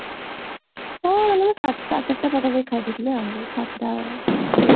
ହଁ ଚାରିଟା ସାଢେ ଚାରିଟା ପାଖାପାଖି ଖାଇ ଦେଇଥିଲି ଆଉ ସାତଟା